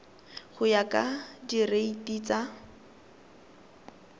go ya ka direiti tsa